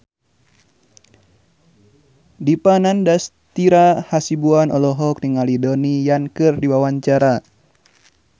Dipa Nandastyra Hasibuan olohok ningali Donnie Yan keur diwawancara